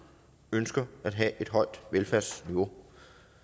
ønsker at have et højt velfærdsniveau